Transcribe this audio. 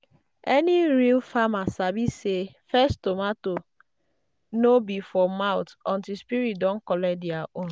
any real farmer sabi say first tomato no be for mouth until spirit don collect their own.